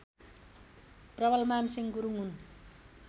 प्रबलमानसिंह गुरुङ हुन्